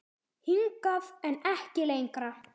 Hingað, en ekki lengra.